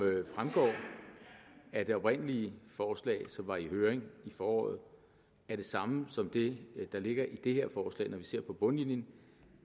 fremgår af det oprindelige forslag som var i høring i foråret er det samme som det der ligger i det her forslag når vi ser på bundlinjen